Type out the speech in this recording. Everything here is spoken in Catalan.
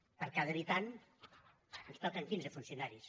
per cada habitant ens toquen quinze funcionaris